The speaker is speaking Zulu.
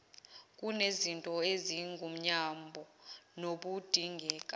kunezinto ezingumyombo nokudingeka